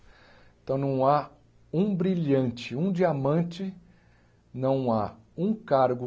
Então, não há um brilhante, um diamante, não há um cargo